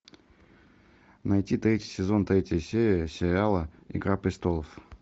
найти третий сезон третья серия сериала игра престолов